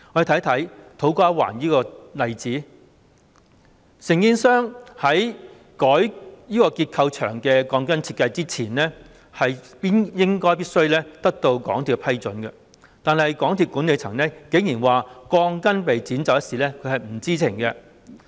以土瓜灣站為例，承建商在更改結構牆的鋼筋設計前，應該必須獲得港鐵公司批准，但是，港鐵公司管理層竟然表示對鋼筋被剪走一事並不知情。